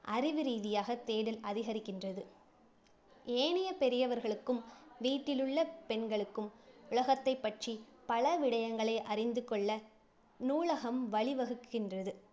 அறிவு ரீதியாக தேடல் அதிகரிக்கின்றது. ஏனைய பெரியவர்களுக்கும், வீட்டிலுள்ள பெண்களுக்கும் உலகத்தைப்பற்றி பல விடயங்களை அறிந்து கொள்ள நூலகம் வழிவகுக்கின்றது.